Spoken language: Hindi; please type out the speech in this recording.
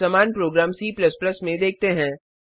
अब समान प्रोग्राम C में देखते हैं